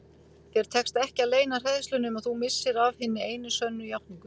Þér tekst ekki að leyna hræðslunni um að þú missir af hinni einu sönnu játningu.